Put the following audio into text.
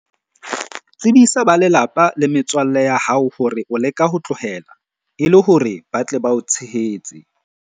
Tsebisa ba lelapa le metswalle ya hao hore o leka ho tlohela, e le hore ba tle ba o tshehetse.